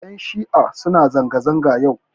Ƴan shi'a suna zanga-zanga yau.